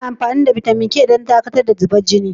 Ana amfani da bitamin K don dakatar da zubar jini.